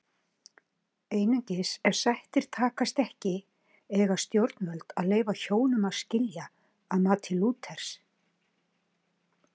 Einungis ef sættir takast ekki eiga stjórnvöld að leyfa hjónum að skilja að mati Lúthers.